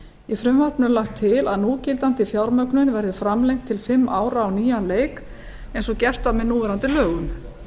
í frumvarpinu er lagt til að núgildandi fjármögnun verði framlengd til fimm ára á nýjan leik eins og gert var með núverandi lögum